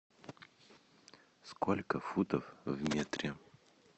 сколько футов в метре